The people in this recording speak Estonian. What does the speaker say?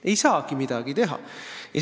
Ei saagi midagi teha!